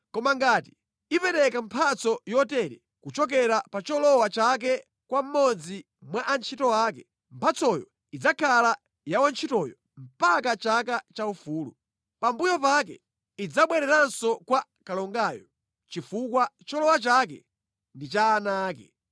Koma ngati ipereka mphatso yotere kuchokera pa cholowa chake kwa mmodzi mwa antchito ake, mphatsoyo idzakhala ya wantchitoyo mpaka chaka chaufulu. Pambuyo pake idzabwereranso kwa kalongayo chifukwa cholowa chake ndi cha ana ake.